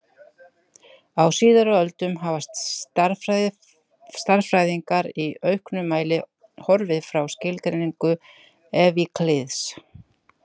Á síðari öldum hafa stærðfræðingar í auknum mæli horfið frá skilgreiningu Evklíðs.